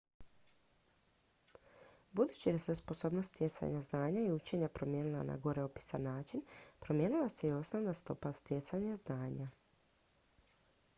budući da se sposobnost stjecanja znanja i učenja promijenila na gore opisani način promijenila se i osnovna stopa stjecanja znanja